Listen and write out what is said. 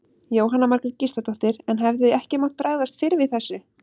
Jóhanna Margrét Gísladóttir: En hefði ekki mátt bregðast fyrr við þessu?